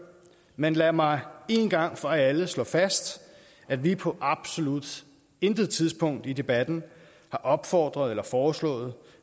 men lad mig en gang for alle slå fast at vi på absolut intet tidspunkt i debatten har opfordret til eller foreslået